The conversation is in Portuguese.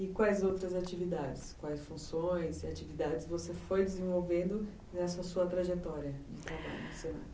E quais outras atividades, quais funções e atividades você foi desenvolvendo nessa sua trajetória de trabalho?